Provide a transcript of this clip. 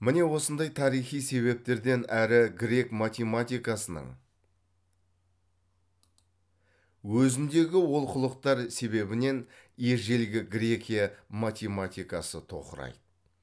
міне осындай тарихи себептерден әрі грек математикасының өзіндегі олқылықтар себебінен ежелгі грекия математикасы тоқырайды